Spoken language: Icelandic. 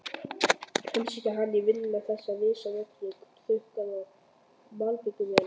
Heimsækja hann í vinnuna, þessir risavöxnu trukkar og malbikunarvélar.